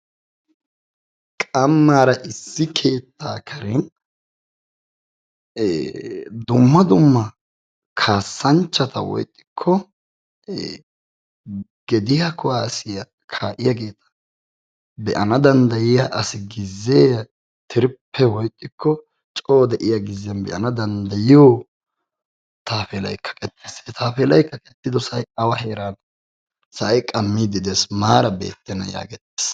Qammaara issi keettaa karen dumma dumma kaasanchata woykko gediyaa kuwaassiyaa kaa'iyaageeta be'ana danddayiaa asi gizzeera coo de'iyaa gizziyaan be'ana danddayoo taappeelay kaqettis he tappeelay kaqettido say awa heerane? sa'ay qammiiddi dess maara beettena yageetes.